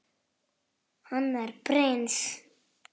Hann er prins.